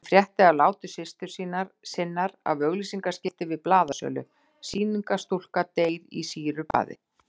Hún frétti af láti systur sinnar af auglýsingaskilti við blaðasölu, SÝNINGARSTÚLKA DEYR Í SÝRUBAÐI.